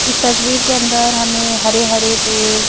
इस तस्वीर के अंदर हमें हरे हरे पेड़--